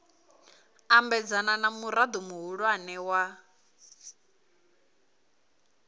ambedzana na murao muhulwane wa